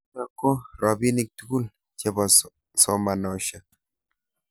Chutok ko robinik tugul chebo somanoshek.